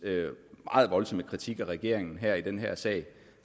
meget voldsomme kritik af regeringen her i den her sag